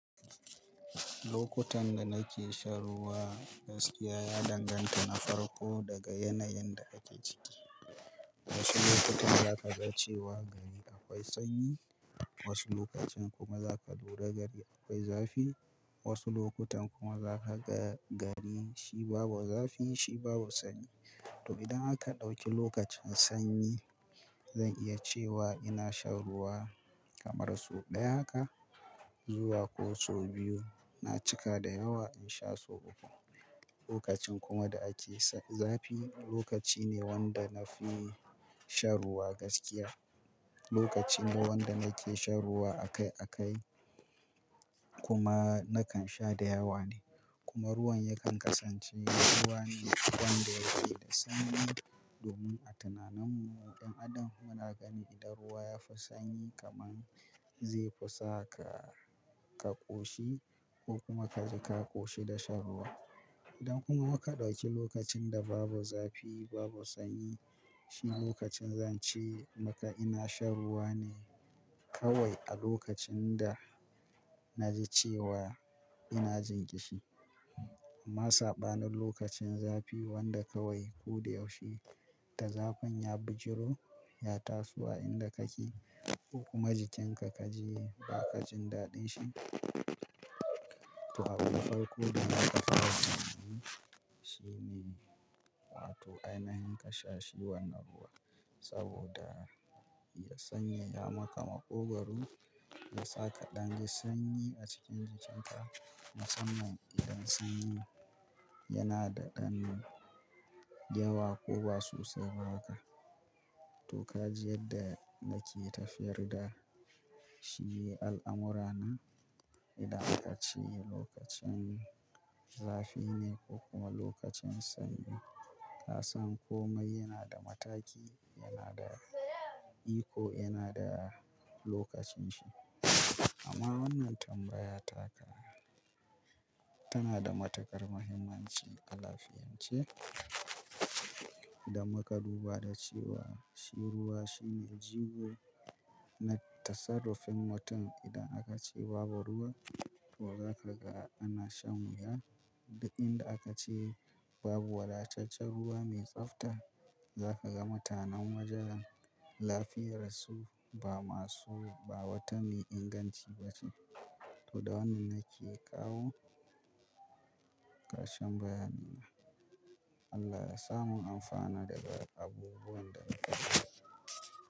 Lokutan da nake shan ruwa gaskiya ya danganta na farko daga yanayin da ake ciki. Wasu lokuta za ka ga cewa gari akwai sanyi, wasu lokacin kuma za ka lura gari akwai zafi, wasu lokutan kuma za ka ga gari shi babu zafi, shi babu sanyi. To idan aka ɗauki lokacin sanyi, zan iya cewa ina shan ruwa kamar so ɗaya haka zuwa ko so biyu. Na cika da yawa in sha so uku. Lokacin kuma da ake zafi, lokaci ne wanda na fi shan ruwa gaskiya. Lokaci ne wanda nake shan ruwa akai akai kuma nakan sha da yawa ne. Kuma ruwan yakan kasance ruwa ne wanda yake da sanyi. Domin a tunaninmu ɗan adam muna gani idan ruwa ya fi sanyi kaman zai fi sa ka, ka ƙoshi ko kuma kaji ka ƙoshi da shan ruwa. Idan kuma ka ɗauki lokacin da babu zafi, babu sanyi, shi lokacin zan ce maka ina shan ruwa ne kawai a lokacin da na ji cewa ina jin ƙishi. Amma saɓanin lokacin zafi wanda kawai ko da yaushe da zafin ya bijiro, ya taso a inda kake ko kuma jikinka ka ji ba ka jin daɗin shi. To abin farko da za ka ƙawo shi ne, a to ai nahin ka sha shi wannan ruwa saboda ya sanya ya maka maƙogwaro. Ya saka ɗan sanyi a cikin jikinka. Musamman idan sanyi yana da ɗan yawa ko ba sosai ba haka. To ka ji yadda nake tafiyar da shi al'amura na. Idan aka ce lokacin zafi ne ko kuma lokacin sanyi, ka san komai yana da mataki, yana da iko yana da lokacin shi. Amma wannan tambaya taka, tana da matuƙar muhimmanci a lafiyanche. Idan muka duba da cewa shi ruwa shine jigo na tasarrufin mutum. Idan aka ce babu ruwa, to za ka ga ana shan wuya. Da inda aka ce babu wadatachen ruwa mai tsafta, za ka ga mutanen wajen lafiyarsu ba masu ba wata mai inganci ba ce. To da wannan nake kawo karshen bayani na. Allah ya sa mun amfana daga abubuwan da muka ji.